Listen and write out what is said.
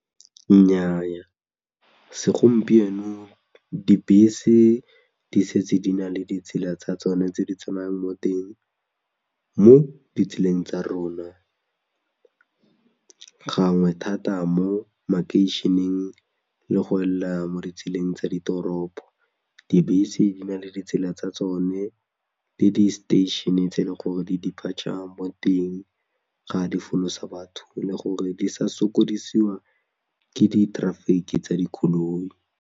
Nnyaa segompieno dibese di setse di na le ditsela tsa tsone tse di tsamayang mo teng mo ditseleng tsa rona, gangwe thata mo makeišeneng le go ela mo ditseleng tsa ditoropo, dibese di na le ditsela tsa tsone le di-station-e tse e leng gore di-depature mo teng ga di folosa batho le gore di sa sokodisiwa ke di traffic-i tsa dikoloi.